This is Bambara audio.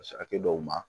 Hakɛ dɔw ma